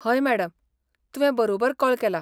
हय मॅडम! तुवें बरोबर कॉल केला.